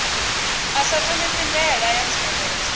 a sa ṱhonifhi ndaela ya tsireledzo